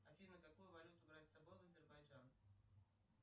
афина какую валюту брать с собой в азербайджан